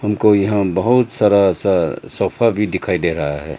कोई हम बहुत सारा सा सोफा भी दिखाई दे रहा है।